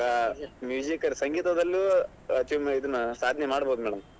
ಈಗ ಸಂಗೀತದಲ್ಲೂ ಇದ್ನ ಸಾಧನೆ ಮಾಡಬೋದು madam .